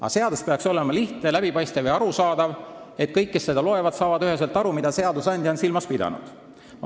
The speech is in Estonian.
Aga seadus peaks olema lihtne, läbipaistev ja arusaadav, et kõik, kes seda loevad, saaksid üheselt aru, mida seadusandja on silmas pidanud.